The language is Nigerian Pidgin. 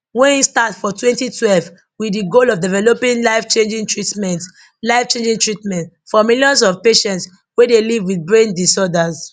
wey im start for 2012 wit di goal of developing lifechanging treatments lifechanging treatments for millions of patients wey dey live wit brain disorders